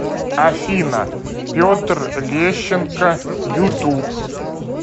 афина петр лещенко ютуб